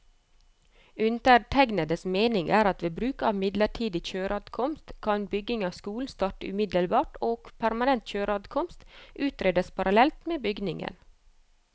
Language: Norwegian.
Undertegnedes mening er at ved bruk av midlertidig kjøreadkomst, kan bygging av skolen starte umiddelbart og permanent kjøreadkomst utredes parallelt med byggingen.